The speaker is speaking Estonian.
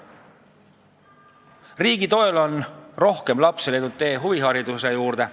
Riigi toel on rohkem lapsi leidnud tee huvihariduse juurde.